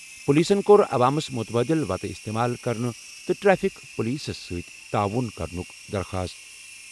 پُلیٖسن کوٚر عوامس مُتبادل وَتہٕ اِستعمال کرنہٕ تہٕ ٹریفک پُلیٖسس سۭتۍ تعاوُن کرنُک درخاست۔